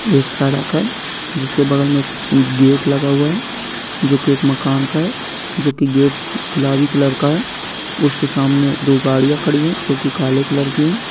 एक सड़क है जिसके बगल में गेट लगा हुआ है जो की एक मकान का है जो कि गेट गुलाबी कलर का है उसके सामने दो गाड़ियां खड़ी है जो की काले कलर की है।